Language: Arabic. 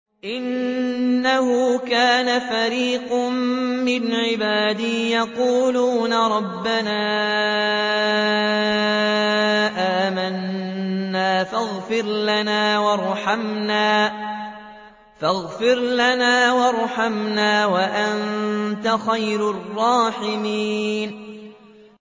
إِنَّهُ كَانَ فَرِيقٌ مِّنْ عِبَادِي يَقُولُونَ رَبَّنَا آمَنَّا فَاغْفِرْ لَنَا وَارْحَمْنَا وَأَنتَ خَيْرُ الرَّاحِمِينَ